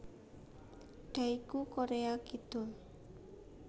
Daegu Korea Kidul